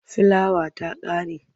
Filawa ta ƙare.